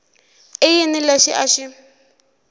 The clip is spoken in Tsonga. i yini lexi a xi